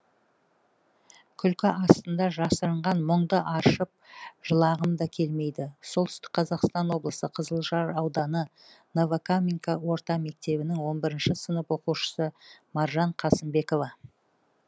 күлкі астында жасырынған мұңды аршып жылағым да келмейді солтүстік қазақстан облысы қызылжар ауданы новокаменка орта мектебінің он бірінші сынып оқушысы маржан қасымбекова